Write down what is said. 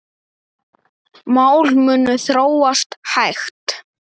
Mál munu þróast hægt.